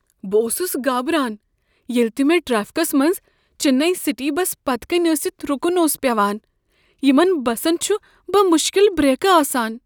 بہٕ اوسس گابران ییلِہ تِہ مےٚ ٹریفکس منٛز چنئی سٹی بس پتکین ٲسِتھ رُکن اوس پیوان۔ یمن بسن چھ بمشکل بریکہٕ آسان۔